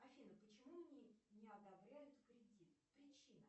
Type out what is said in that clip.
афина почему мне не одобряют кредит причина